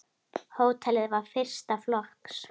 Hótelið var fyrsta flokks.